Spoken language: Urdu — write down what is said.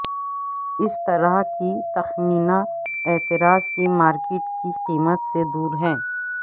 اس طرح کی تخمینہ اعتراض کی مارکیٹ کی قیمت سے دور ہے